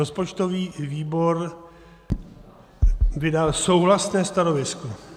Rozpočtový výbor vydal souhlasné stanovisko.